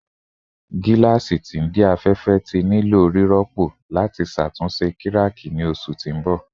Aṣọ afẹfẹ jẹ nitori aropo lati ṣatunṣe kiraki ni oṣu ti n bọ